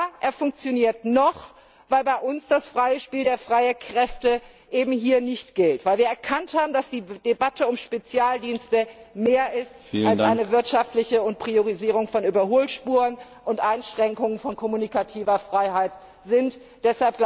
Ja, er funktioniert noch, weil bei uns das freie Spiel der freien Kräfte eben hier nicht gilt, weil wir erkannt haben, dass die Debatte um Spezialdienste mehr ist als eine wirtschaftliche, und es um die Priorisierung von Überholspuren und die Einschränkung von kommunikativer Freiheit geht.